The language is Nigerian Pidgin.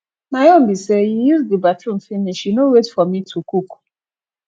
my own be say you use the bathroom finish you no wait for me to cook